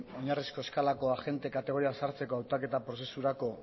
oinarrizko eskalako agente kategorian sartzeko hautaketa prozesurako